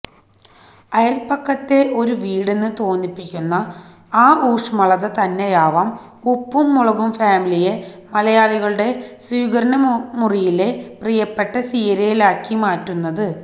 അയൽപ്പക്കത്തെ ഒരു വീടെന്ന് തോന്നിപ്പിക്കുന്ന ആ ഊഷ്മളത തന്നെയാവാം ഉപ്പും മുളകും ഫാമിലിയെ മലയാളികളുടെ സ്വീകരണമുറിയിലെ പ്രിയപ്പെട്ട സീരിയലാക്കി മാറ്റുന്നത്